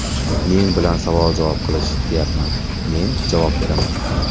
Men bilan savol-javob qilish deyapman, men javob beraman.